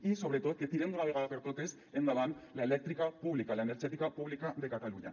i sobretot que tirem d’una vegada per totes endavant l’elèctrica pública l’energètica pública de catalunya